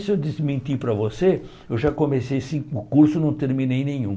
E se eu desmentir para você, eu já comecei cinco cursos e não terminei nenhum.